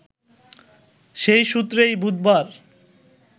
সেই সূত্রেই বুধবার